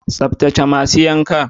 Tsaftace masu yankan.